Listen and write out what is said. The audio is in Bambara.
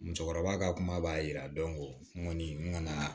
Musokɔrɔba ka kuma b'a yira n kɔni n ka na